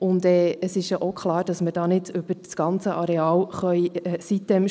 Dabei ist auch klar, dass wir sitem nicht über das ganze Areal stülpen